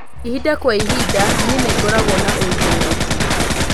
ĩhĩnda kwaĩhĩnda nii ningoragwo na uigiririki